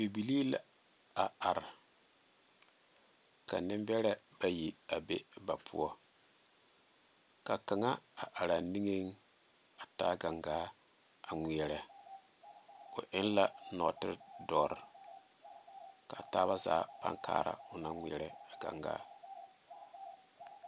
Bibilee la a are ka nenbɛre bayi a be ba poɔ ka kaŋa a are niŋe a taa gangaa a ŋmeɛrɛ o eŋ la nɔɔte doɔre ka taa zaa are kaara o naŋ ŋmeɛrɛ a gangaa.